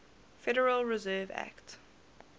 federal reserve act